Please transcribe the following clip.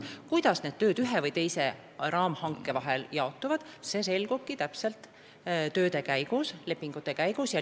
Kuidas tööd ühe või teise raamhanke vahel jaotuvad, see selgubki lepingute koostamise ja tööde tegemise käigus.